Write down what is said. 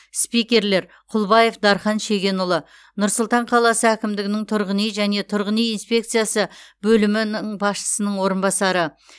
спикерлер құлбаев дархан шегенұлы нұр сұлтан қаласы әкімдігінің тұрғын үй және тұрғын үй инспекциясы бөлімі ні басшысының орынбасары